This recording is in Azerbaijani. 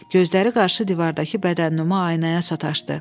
Gözləri qarşı divardakı bədənnüma aynaya sataşdı.